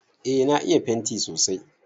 Eh na iya fenti sosai.